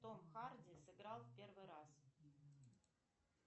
том харди сыграл в первый раз